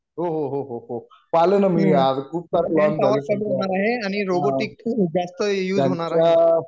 हो हो हो हो हो पाहल न मी आज खूपच Unclear झाली unclear